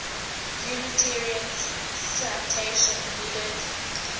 unitarians citation needed